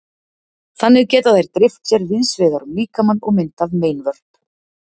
Þannig geta þær dreift sér víðs vegar um líkamann og myndað meinvörp.